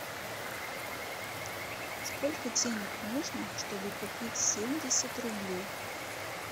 сколько денег нужно чтобы купить семьдесят рублей